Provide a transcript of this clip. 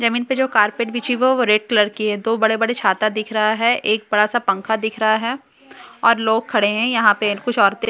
जमीन पे जो कारपेट बिछी हुई है वो रेड कलर की है दो बड़े-बड़े छाता दिख रहा है एक बड़ा-सा पंखा दिख रहा है और लोग खड़े है यहां पे कुछ औरतें --